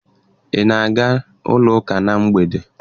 Ị na-aga ụka na mgbede?